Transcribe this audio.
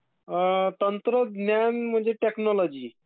तंत्रज्ञान म्हणजे टेक्नोलोजी